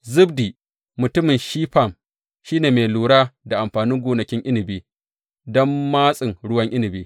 Zabdi mutumin Shifam shi ne mai lura da amfanin gonakin inabi don matsin ruwan inabi.